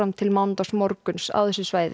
til mánudagsmorguns á þessu svæði